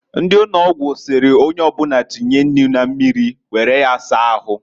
Ndi ụnọgwụ sịrị onyeobụna tinye nnu na mmiri ọkụ were ya saa ahu.